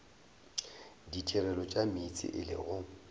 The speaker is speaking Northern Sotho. ditirelo tša meetse e lego